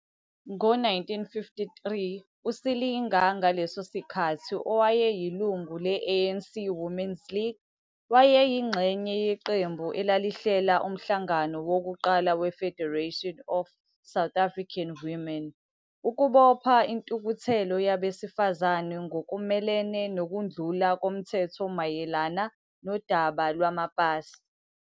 Ngo-1953, uSilinga, ngaleso sikhathi owayeyilungu le-ANC Women's League, ANCWL, wayeyingxenye yeqembu elalihlela umhlangano wokuqala we-Federation of South African Women, FSAW, ukubopha intukuthelo yabesifazane ngokumelene nokundlula komthetho mayelana nodaba lwamapasi.